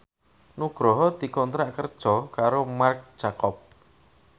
Nugroho dikontrak kerja karo Marc Jacob